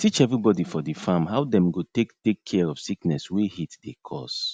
teach everybody for di farm how dem go take take care of sickness wey heat dey cause